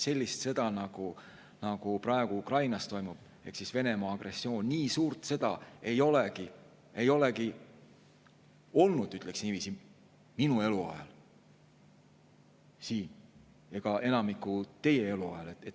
Sellist sõda, nagu praegu toimub Ukrainas, Venemaa agressioon, nii suurt sõda ei olegi olnud, ütleksin niiviisi, minu eluajal ega teist enamiku eluajal.